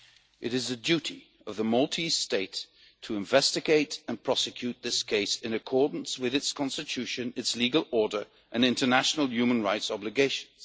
It is the duty of the Maltese state to investigate and prosecute this case in accordance with its constitution, its legal order and international human rights obligations.